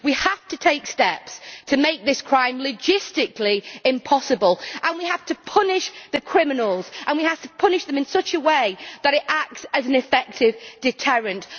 We have to take steps to make this crime logistically impossible, we have to punish the criminals, and we have to punish them in such a way that it acts as an effective deterrent.